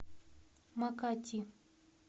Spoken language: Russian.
макати